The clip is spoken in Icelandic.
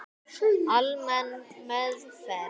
Almenn meðferð